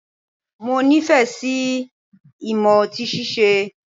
Mo nifẹ si imọ ọti síse